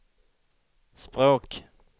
språk